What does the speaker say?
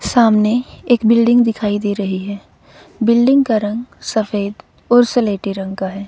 सामने एक बिल्डिंग दिखाई दे रही है बिल्डिंग का रंग सफेद और सलेटी रंग का है।